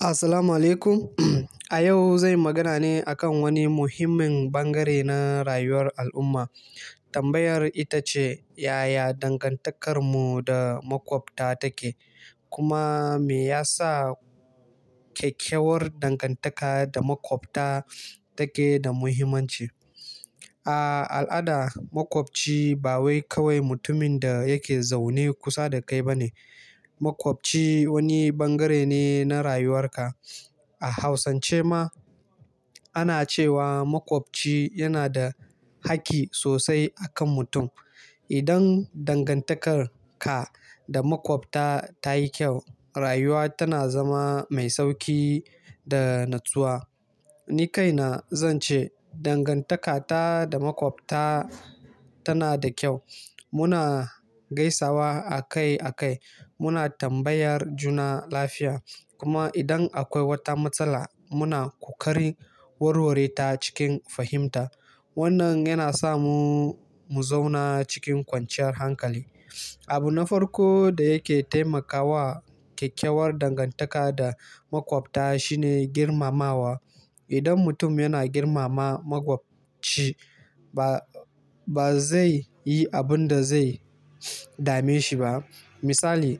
Assalamu'alaikum. A yau zanyi magana ne a kan wani muhimmin bangare na rayuwar al'umma. Tambayar ita ce, yaya dangantakarmu da maƙwabta take? Kuma me yasa kyakkyawar dangantaka da maƙwabta take da muhimmanci? A al'ada, maƙwabci ba wai kawai mutumin da yake zaune kusa da kai ba ne. Maƙwabci wani bangare ne na rayuwarka. A Hausance ma ana cewa maƙwabci yana da hakki sosai a kan mutum. Idan dangantakar ka da maƙwabta ta yi kyau, rayuwa tana zama mai sauƙi da natsuwa. Ni kaina zan ce dangantaka ta da makwabta tana da kyau. Muna gaisawa a kai a kai. Muna tambayar juna lafiya. Kuma idan akwai wata matsala, muna ƙoƙari warware ta cikin fahimta. Wannan yana sa mu mu zauna cikin kwanciyar hankali. Abu na farko da yake taimakawa kyakkyawar dangantaka da makwabta shine girmamawa. Idan mutum yana girmama makwabci, ba, ba zai yi abin da zai dame shi ba. Misali,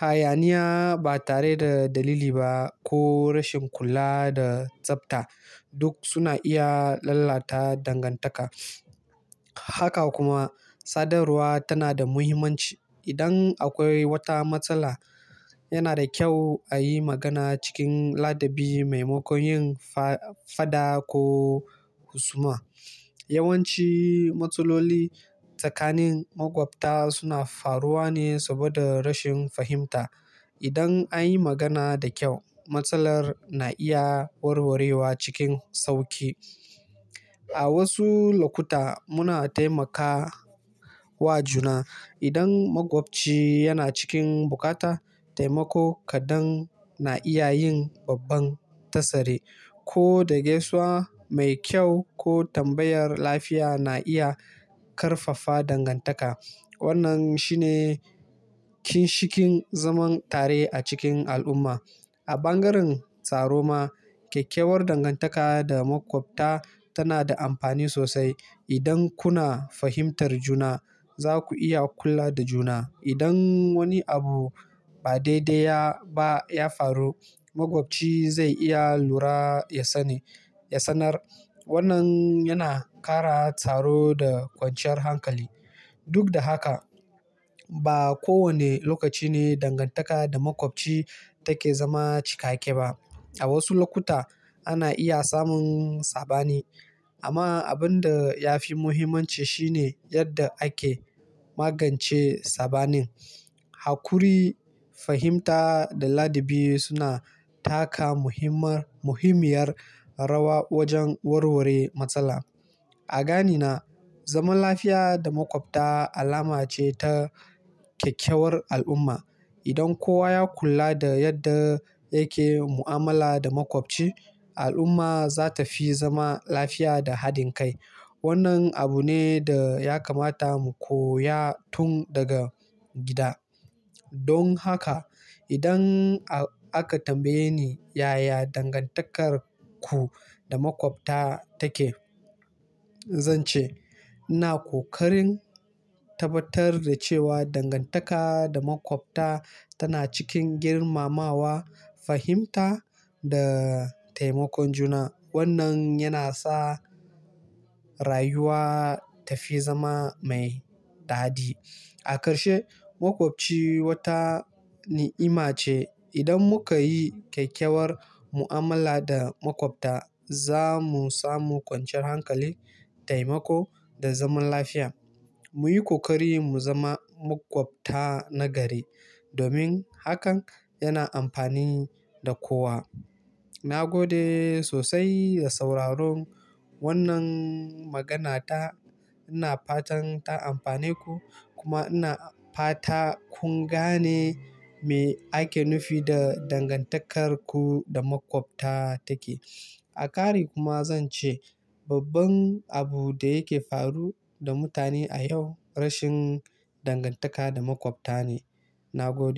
hayaniya ba tare da dalili ba ko rashin kula da tsafta duk suna iya lalata dangantaka. Haka kuma, sadarwa tana da muhimmanci. Idan akwai wata matsala, yana da kyau a yi magana cikin ladabi mai makon yin faɗa ko husuma. Yawanci matsaloli tsakanin makwabta suna faruwa ne saboda rashin fahimta. Idan an yi magana da kyau, matsalar na iya warwarewa cikin sauƙi. A wasu lokuta muna taimakawa juna. Idan makwabci yana cikin buƙata taimako kaɗan, na iya yin babban tasare. Ko da gaisuwa mai kyau ko tambayar lafiya na iya ƙarfafa dangantaka. Wannan shine kinshikin zaman tare a cikin al'umma. A ɓangaren tsaro ma kyakkyawar dangantaka da makwabta tana da amfani sosai. Idan kuna fahimtar juna, za ku iya kula da juna. Idan wani abu ba daidai ba ya faru, makwabci zai iya lura ya sani, ya sanar. Wannan yana ƙara tsaro da kwanciyar hankali. Duk da haka, ba kowane lokaci ne dangantaka da makwabci take zama cikakke ba. A wasu lokuta ana iya samun saɓani. Amma abin da ya fi muhimmanci shi ne yadda ake magance saɓanin. Haƙuri, fahimta da ladabi suna taka muhimman, muhimmiyar rawa wajen warware matsala. A ganina, zaman lafiya da makwabta alama ce ta kyakkyawar al'umma. Idan kowa ya kula da yadda yake mu'amala da makwabci, al'umma za ta fi zama lafiya da haɗin kai. Wannan abu ne da ya kamata mu koya tun daga gida. Don haka, idan a-aka tambaye ni yaya dangantakarku da makwabta take, zan ce ina ƙoƙarin tabbatar da cewa dangantaka da makwabta tana cikin girmamawa, fahimta da taimakon juna. Wannan yana sa rayuwa ta fi zama mai daɗi. A karshe, makwabci wata ni'ima ce. Idan muka yi kyakkyawar mu'amala da makwabta, za mu samu kwanciyar hankali, taimako da zaman lafiya. Muyi ƙoƙari mu zama makwabta nagari domin hakan yana amfani da kowa. Na gode sosai da sauraron wannan magana ta. Ina fatan ta amfane ku. Kuma ina fata kun gane me ake nufi da dangantarku da makwabta take. A ƙare kuma zan ce babban abu da yake faru da mutane a yau rashin dangantaka da makwabta ne. Na gode.